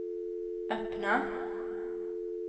öppna